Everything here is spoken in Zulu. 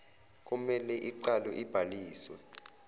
komele iqale ibhaliswe